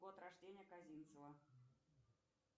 год рождения козинцева